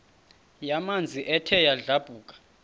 yamanzi ethe yadlabhuka